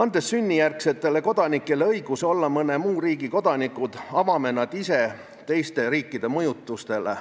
Andes sünnijärgsetele kodanikele õiguse olla mõne muu riigi kodanikud, avame nad ise teiste riikide mõjutustele.